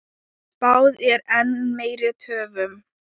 Spáð er enn meiri töfum.